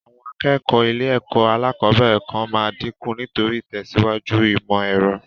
Àwọn akẹ́kọ̀ọ́ ilé-ẹ̀kọ́ alẹ́kọ̀ọ́bẹ̀rẹ̀ kan máa dinku nítorí ìtẹ̀síwájú ìmọ̀ èrọ.